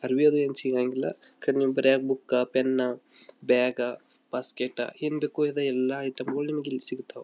ಅರಬಿ ಅದು ಏನು ಸಿಗಂಗಿಲ್ಲಾ ಬರಿಯಕ್ಕ ಬುಕ್ ಪೆನ್ ಬ್ಯಾಗ್ ಬಾಸ್ಕೆಟ್ ಏನ್ ಬೇಕೋ ಎಲ್ಲಾ ಐಟಂ ಗಳು ನಿಮ್ಮಗ ಇಲ್ಲಿ ಸಿಗತ್ತವ.